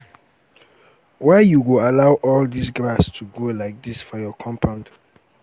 why you go allow all dis grass to grow like dis for your compound?